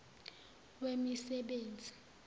wemisebenzi